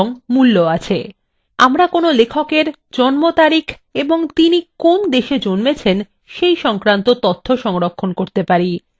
আমরা কোনো লেখক এর জন্মতারিখ এবং তিনি কোন দেশে জন্মেছেন সেই তথ্য সংরক্ষণ করতে পারি